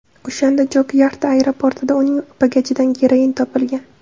O‘shanda Jokyakarta aeroportida uning bagajidan geroin topilgan.